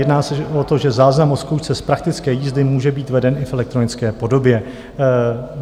Jedná se o to, že záznam o zkoušce z praktické jízdy může být veden i v elektronické podobě.